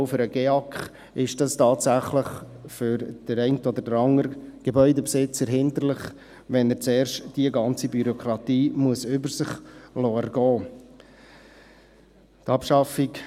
Auch für den GEAK ist es tatsächlich für den einen oder anderen Gebäudebesitzer hinderlich, wenn er zuerst diese ganze Bürokratie über sich ergehen lassen muss.